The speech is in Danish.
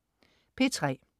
P3: